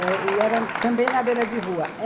E era também na beira de rua.